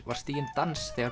var stiginn dans þegar